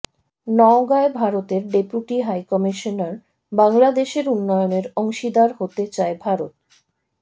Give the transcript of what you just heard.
নওগাঁয় ভারতের deputy high commissioner বাংলাদেশের উন্নয়নের অংশীদার হতে চায় ভারত